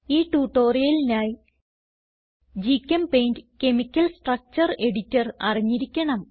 ഈ ട്യൂട്ടോറിയലിനായി ഗ്ചെമ്പെയിന്റ് കെമിക്കൽ സ്ട്രക്ചർ എഡിറ്റർ അറിഞ്ഞിരിക്കണം